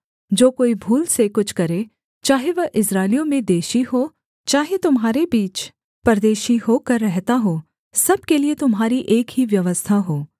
जो कोई भूल से कुछ करे चाहे वह इस्राएलियों में देशी हो चाहे तुम्हारे बीच परदेशी होकर रहता हो सब के लिये तुम्हारी एक ही व्यवस्था हो